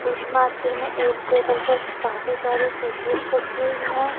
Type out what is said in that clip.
Fish market में एक table पर काफी सारी फिशेज रखी हुई हैं।